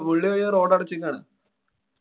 മുള്ളി വഴി road അടച്ചിരിക്കയാണ്.